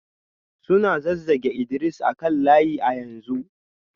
Suna zazzage Idris a kan layi a yanzu